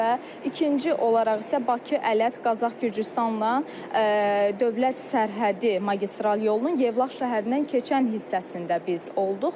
Və ikinci olaraq isə Bakı, Ələt, Qazax, Gürcüstanla dövlət sərhəddi magistral yolunun Yevlax şəhərindən keçən hissəsində biz olduq.